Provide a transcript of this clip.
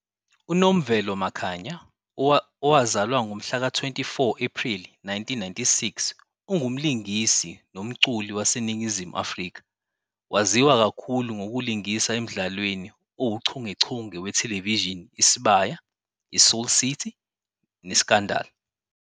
UNomvelo Makhanya, owazalwa ngomhlaka-24 Ephreli 1996, ungumlingisi nomculi waseNingizimu Afrika. Waziwa kakhulu ngokulingisa emdlalweni "owuchungechunge" wethelevishini Isibaya, "iSoul City" "neScandal!."